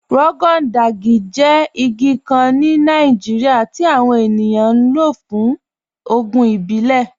Rọgọn Dàjì jẹ́ igi kàn ní Nàìjíríà tí awọn ènìyàn ní wọ́n fún ògùn ìbílẹ̀.